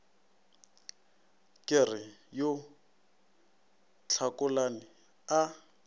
ke re yo tlhakolane a